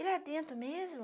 E lá dentro mesmo,